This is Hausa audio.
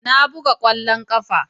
Ina buga kwallon kafa.